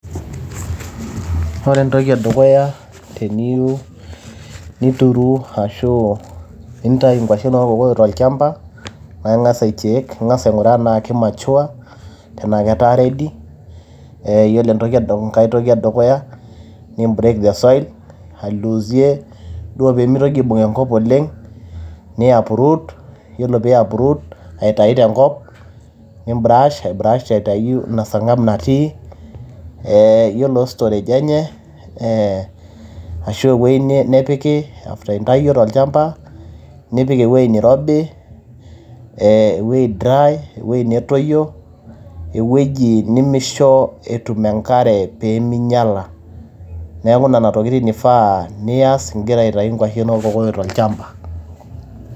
Ore entoki e dukuya teniyieu nituru ashu nintayu nkuashen oo ilkokoyok tolchamba naa ing`as ai check ing`as aing`uraa tenaa ki mature tenaa ketaa ready. Yiolo entoki, enkae toki e dukuya ni break the soil ailuusie duo pee mitoki aibung enkop oleng ni uproot yiolo pee uproot aitayu tenkop. Ni [cs brush ai brush aitayu ina sarghab natii ee yiolo storage enye ashu ewueji nepiki after intayio tolchamba nipik ewueji neirobi ee ewueji dry ewueji netoyio ewueji nemeisho etum enkare pee minyiala. Niaku nena tokitin eifaa niyas igira aitayu nkuashen oo ilkokoyok tolchamba.